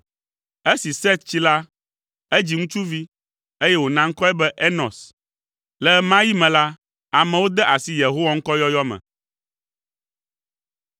Esi Set tsi la, edzi ŋutsuvi, eye wòna ŋkɔe be Enos. Le ɣe ma ɣi me la, amewo de asi Yehowa ŋkɔ yɔyɔ me.